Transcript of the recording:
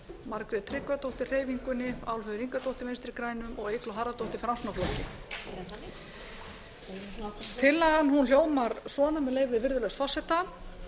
margrét tryggvadóttir hreyfingunni álfheiður ingadóttir vinstri grænum og eygló harðardóttir framsóknarflokki tillagan hljómar svona með leyfi virðulegs forseta